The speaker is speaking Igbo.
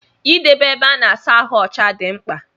Idebe ébé ịsa ahụ ọcha dị mkpa.